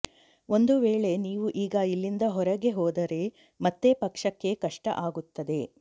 ಒಂದು ವೇಳೆ ನೀವು ಈಗ ಇಲ್ಲಿಂದ ಹೊರಗೆ ಹೋದರೆ ಮತ್ತೆ ಪಕ್ಷಕ್ಕೆ ಕಷ್ಟ ಆಗುತ್ತದೆ